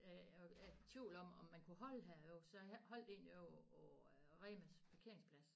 Jeg var i tvivl om om man kunne holde her jo så jeg holdt egentlig ovre på på Remas parkeringsplads